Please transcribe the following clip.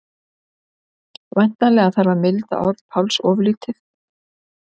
Væntanlega þarf að milda orð Páls örlítið.